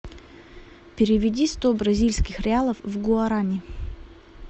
переведи сто бразильских реалов в гуарани